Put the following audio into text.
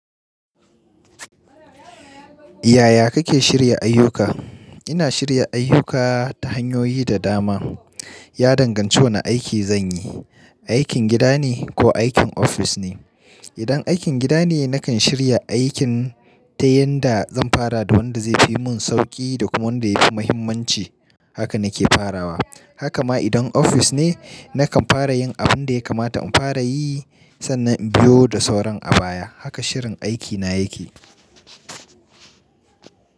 Yaya kake shirya ayyukanka? Ina shirya ayyuka ta hanyoyi da dama. Ya danganci wane aiki zan yi, aikin gida ne ko aikin ofis ne. Idan aikin gida ne, nakan shirya aikin ta yanda zan fara da wanda zai fi mun sauƙi da kuma wanda ya fi muhimmanci. Haka na ke farawa. Haka ma idan ofis ne, nakan fara yin abin da ya kamata in fara yi sannan in biyo da sauran abaya. Haka shirin aikina yake.